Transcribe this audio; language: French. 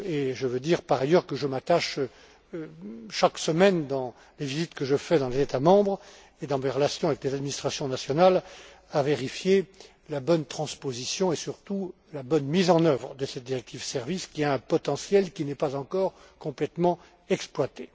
Je veux dire par ailleurs que je m'attache chaque semaine dans les visites que je fais dans les États membres et dans mes relations avec les administrations nationales à vérifier la bonne transposition et, surtout, la bonne mise en œuvre de cette directive Services, qui a un potentiel qui n'est pas encore complètement exploité.